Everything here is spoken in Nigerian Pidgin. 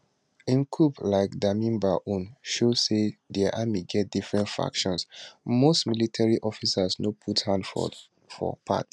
im coup like damiba own show say dia army get different factions most military officers no put hand for for part